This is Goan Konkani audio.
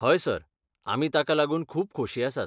हय, सर, आमी ताका लागून खूब खोशी आसात.